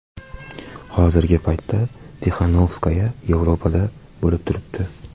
Hozirgi paytda Tixanovskaya Yevropada bo‘lib turibdi .